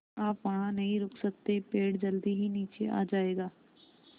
आप वहाँ नहीं रुक सकते पेड़ जल्दी ही नीचे आ जाएगा